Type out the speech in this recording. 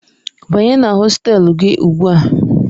Banye na hostelu gị ugbu a!